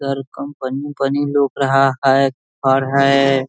इधर कंपनी उम्पनी लोप रहा है है।